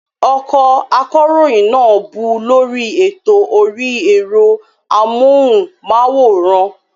Ọkọ akọ̀ròyìn náà bú u lórí ètò orí ẹ̀rọ amóhùnmáwòrán